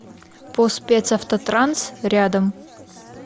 по спецавтотранс рядом